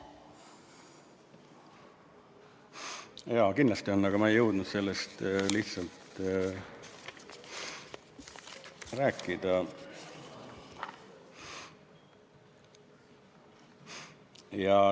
Jaa, kindlasti on, aga ma lihtsalt ei jõudnud sellest rääkida.